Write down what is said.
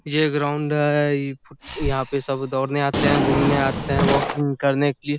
ये ग्राउंड है । यहाँ पे सब दौड़ने आते हैं। घुमने आते हैं वॉकिंग करने की--